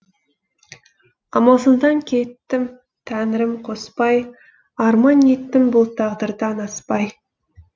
амалсыздан кеттім тәңірім қоспай арман еттім бұл тағдырдан аспай